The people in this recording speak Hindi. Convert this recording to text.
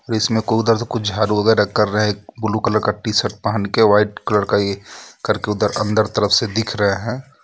इसमें को उधर से कुछ झाड़ू वगैरह कर रहे हैं ब्लू कलर का टी-शर्ट पहन के व्हाइट कलर का ये करके उधर अंदर तरफ से दिख रहे हैं.